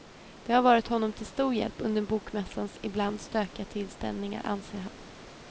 De har varit honom till stor hjälp under bokmässans ibland stökiga tillställningar, anser han.